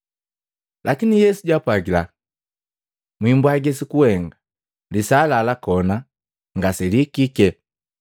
Lakini Yesu jaapwagila, “Mwiimbwagi sukuhenga. Lisaa la lakona ngaselihikike.”